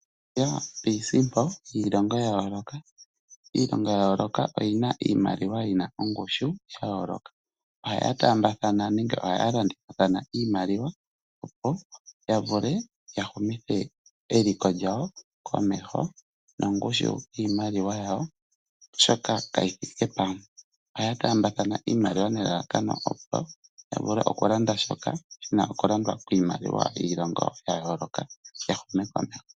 Iisimpo yiilongo ya yooloka Iilongo ya yooloka oyina iimaliwa yina ongushu sha yooloka. Ohaya taambathana nenge ohaya landithathana iimaliwa opo ya vule ya humithe eliko lyawo komeho nongushu yiimaliwa yawo, oshoka kayi thike pamwe. Ohaya taambathana iimaliwa nelalakano opo ya vule oku landa shoka shina oku landwa kiimaliwa yiilongo ya yoloka